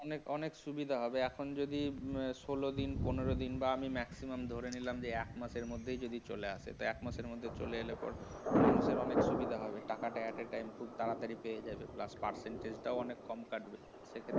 অনেক অনেক সুবিধা হবে এখন যদি ষোলো দিন বা পনেরো দিন বা maximum ধরে নিলাম যে এক মাসের মধ্যে যদি চলে আসে এক মাসের মধ্যে চলে এলে মানুষের অনেক সুবিধা হবে টাকাটা at a time তাড়াতাড়ি পেয়ে যাবে percentage টা অনেক কম কাটবে